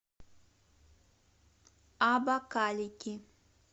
абакалики